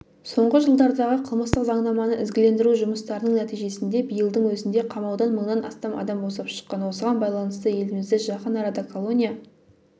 соңғы жылдардағы қылмыстық заңнаманы ізгілендіру жұмыстарының нәтижесінде биылдың өзінде қамаудан мыңнан астам адам босап шыққан осыған байланысты елімізде жақын арада колония